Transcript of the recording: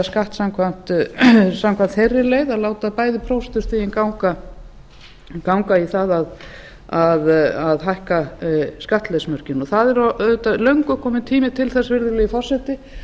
skatt samkvæmt þeirri leið að láta bæði prósentustigin ganga í það að hækka skattleysismörkin það er auðvitað löngu kominn tími til þess virðulegi forseti